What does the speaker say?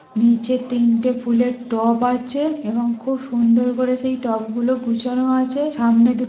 নিচে তিনটে ফুলের টব আছে এবং খুব সুন্দর করে সেই টবগুলো গুছানো আছে সামনে দু--